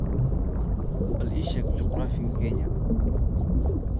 Bal ii sheeg juqraafiga Kenya